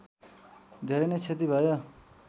धेरै नै क्षति भयो